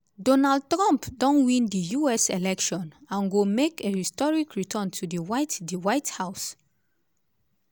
donald trump don win di us election and go make a historic return to di white di white house.